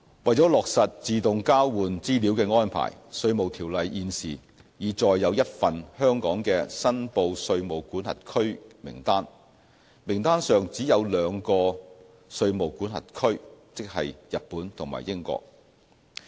為落實自動交換資料的安排，《稅務條例》現時已載有一份香港的"申報稅務管轄區"名單，名單上只有兩個稅務管轄區，即日本和英國。